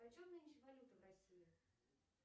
почем нынче валюта в россии